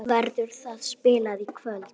Verður það spilað í kvöld?